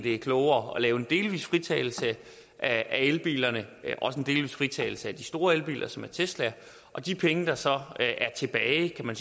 er klogere at lave en delvis fritagelse af elbilerne også en delvis fritagelse af de store elbiler som er tesla og de penge der så